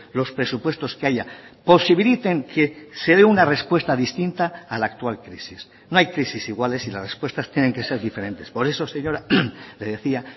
los presupuestos que haya posibiliten que se dé una respuesta distinta a la actual crisis no hay crisis iguales y las respuestas tienen que ser diferentes por eso señora le decía